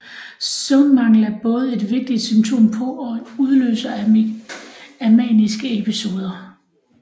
Søvnmangel er både et vigtigt symptom på og en udløser af maniske episoder